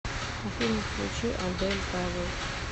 афина включи адель тавил